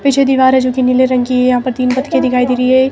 पीछे दीवार है जो कि नीले रंग की है यहां पर तीन पतके दिखाई दे री है।